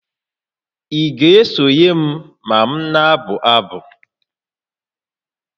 Ị ga-esonye m ma m na-abụ abụ?